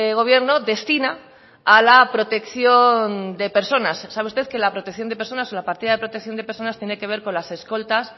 gobierno destina a la protección de personas sabe usted que la protección de personas o la partida de protección de personas tiene que ver con las escoltas